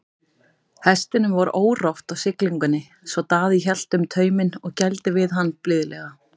Hestinum var órótt á siglingunni svo Daði hélt um tauminn og gældi við hann blíðlega.